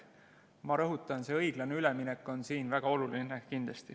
Ma rõhutan, see õiglane üleminek on kindlasti väga oluline.